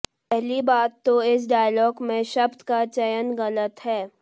पहली बात तो इस डायलॉग में शब्द का चयन गलत है